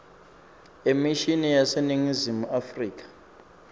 emishini yaseningizimu afrika